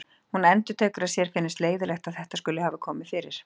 Hún endurtekur að sér finnist leiðinlegt að þetta skuli hafa komið fyrir.